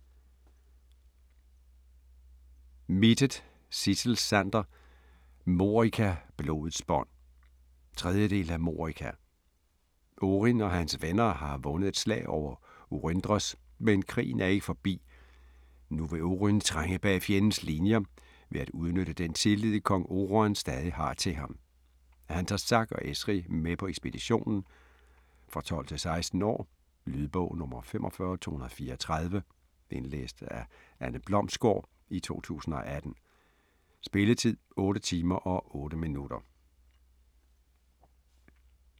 Mittet, Sidsel Sander: Morika - blodets bånd 3. del af Morika. Oryn og hans venner har vundet et slag over Oryndros, men krigen er ikke forbi. Nu vil Oryn trænge bag fjendens linjer ved at udnytte den tillid, kong Oruan stadig har til ham. Han tager Zack og Eshri med på ekspeditionen. For 12-16 år. Lydbog 45234 Indlæst af Anne Blomsgård, 2018. Spilletid: 8 timer, 8 minutter.